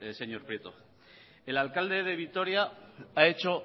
señor prieto el alcalde de vitoria ha hecho